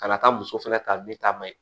Ka na taa muso fɛnɛ ta ne ta ma ye